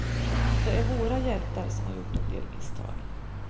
De är våra hjältar som har gjort en del misstag.